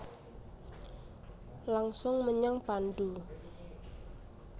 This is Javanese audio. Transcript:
Langsung menyang pandhu